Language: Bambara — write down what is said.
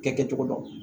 Kɛ kɛcogo dɔn